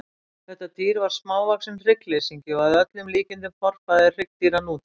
Þetta dýr var smávaxinn hryggleysingi og að öllum líkindum forfaðir hryggdýra nútímans.